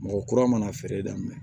Mɔgɔ kura mana feere daminɛ